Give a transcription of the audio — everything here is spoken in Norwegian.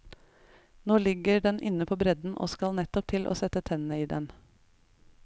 Nå ligger den inne på bredden og skal nettopp til å sette tennene i den.